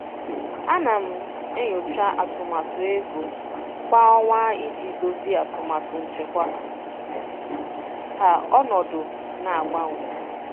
Ana m enyocha atụmatụ ego kwa ọnwa iji dozie atụmatụ nchekwa ka ọnọdụ na-agbanwe.